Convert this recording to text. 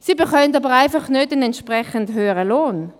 Sie bekommen aber einfach nicht einen entsprechend höheren Lohn.